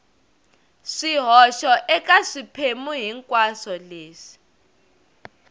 swihoxo eka swiphemu hinkwaswo leswi